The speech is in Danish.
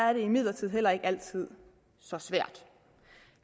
er det imidlertid heller ikke altid så svært